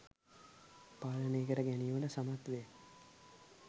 පාලනය කර ගැනීමට සමත් වේ.